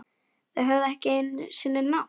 Höfðu ekki einu sinni nafn.